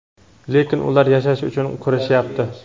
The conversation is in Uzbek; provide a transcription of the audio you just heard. lekin ular yashash uchun kurashyapti.